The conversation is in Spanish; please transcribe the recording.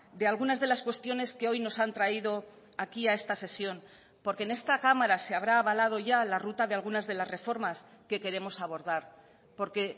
de algunas de las cuestiones que hoy nos han traído aquí a esta sesión porque en esta cámara se habrá avalado ya la ruta de algunas de las reformas que queremos abordar porque